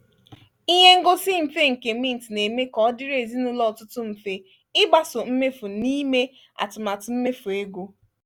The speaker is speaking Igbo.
ihe ngosi mfe nke mint na-eme ka ọ dịrị ezinụlọ ọtụtụ mfe ịgbaso mmefu na ime atụmatụ mmefu ego.